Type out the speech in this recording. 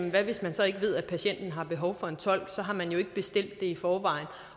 hvad hvis man så ikke ved at patienten har behov for en tolk så har man jo ikke bestilt det i forvejen